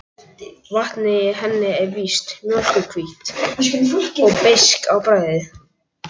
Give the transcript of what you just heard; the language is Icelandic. Vatnið í henni er víst mjólkurhvítt og beiskt á bragðið.